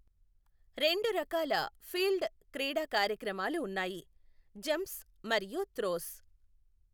రెండు రకాల ఫీల్డ్ క్రీడా కార్యక్రమాలు ఉన్నాయి, జంప్స్ మరియు త్రోస్.